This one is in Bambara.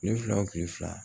Kile fila wo kile fila